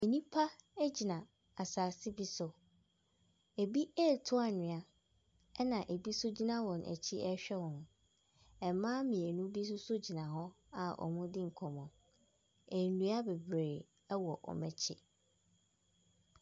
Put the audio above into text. Nnipa bi gyina asase bi so. Ebi retu anhwea, na ebi nso gyina wɔn akyi rehwɛ wɔn. Mmaa mmienu bi nso gyina hɔ a wɔredi nkɔmmɔ. Nnua bebree wɔ wɔn akyi.